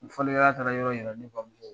Fɔlikɛla taara yɔrɔ yira ne bamuso la.